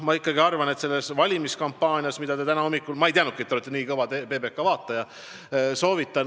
Ma ei teadnudki, et te olete nii kõva PBK vaataja.